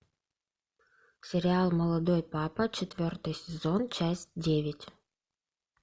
сериал молодой папа четвертый сезон часть девять